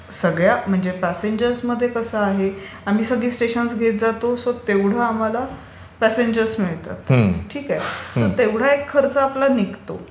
सगळ्या म्हणजे प्यासेंजर्स मध्ये कसं आहे की आम्ही सगळी स्टेशन्स घेत जातो सो तेवढे आम्हाला प्यासेंजर्स मिळतात. ठीक आहे? सो तेवढा एक खर्च निघतो.